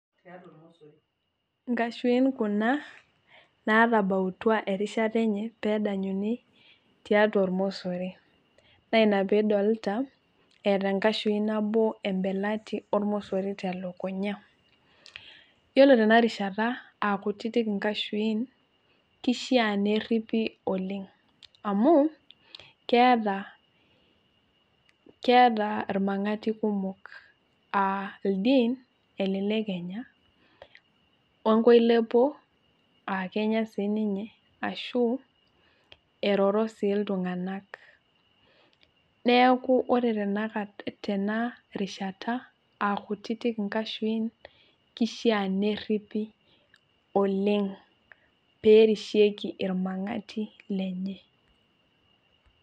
Nkashuin kuna, natabautua erishata enye peedanyuni tiatua ormosori. Naa ina pee idolita eeta enkashui nabo embelati ormosori telukunya. Yiolo tena rishata, aa kutitik inkashuin, kishaa nerripi, oleng' Amu keeta irmang'ati kumok, aa ildien, aa elelek enya. We nkoilepo, aa kenya siininye aashu eroro sii iltung'anak. Neeku ore tenakata tena rishata aa kutitik inkashuin, kishaa nerripi oleng' pee erishieki irmang'ati lenye.